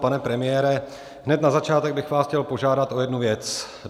Pane premiére, hned na začátek bych vás chtěl požádat o jednu věc.